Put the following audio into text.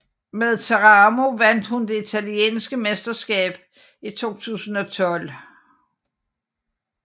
Med Teramo vandt hun det italienske mesterskab i 2012